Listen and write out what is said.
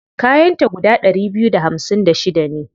Kayan ta guda ɗari biyu da hamsin da shida ne.